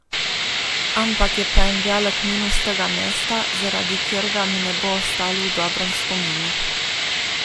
Ampak, je pa en velik minus tega mesta, zaradi katerega mi ne bo ostalo v dobrem spominu.